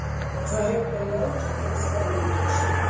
Það hefur verið ótrúleg þróun í þessu.